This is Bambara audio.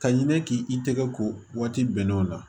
Ka ɲini k'i tɛgɛ ko waati bɛnnenw na